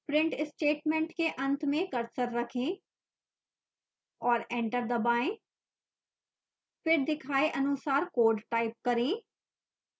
print statement के अंत में cursor रखें और enter दबाएं फिर दिखाए अनुसार कोड टाइप करें